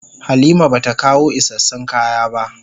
Halima bata kawo isassun kaya ba.